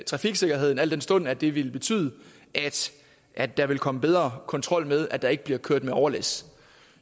trafiksikkerheden al den stund det vil betyde at der vil komme bedre kontrol med at der ikke bliver kørt med overlæs